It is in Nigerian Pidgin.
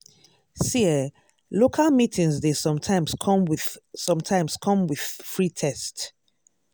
see eh local meeting dey sometimes come with sometimes come with free test.